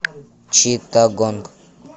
читтагонг